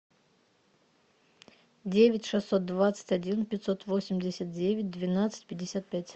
девять шестьсот двадцать один пятьсот восемьдесят девять двенадцать пятьдесят пять